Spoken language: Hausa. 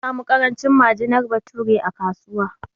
An samu ƙarancin majinar bature a kasuwa